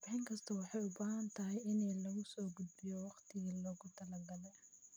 Warbixin kasta waxay u baahan tahay in lagu soo gudbiyo waqtigii loogu talagalay.